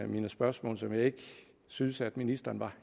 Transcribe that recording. mine spørgsmål som jeg ikke synes at ministeren var